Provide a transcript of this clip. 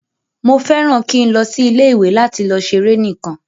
Mo fẹràn ki n lọ sí ilé ìwé lati lọ ṣeré nikan.